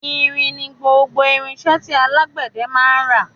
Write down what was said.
Irin ni gbogbo irinṣẹ́ tí alágbẹ̀dẹ náà ń ra.